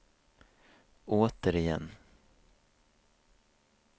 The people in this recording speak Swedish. återigen